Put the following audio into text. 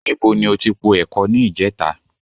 Níbo ni o ti po ẹ̀kọ ní ìjẹta?